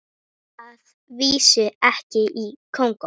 Að vísu ekki í Kongó.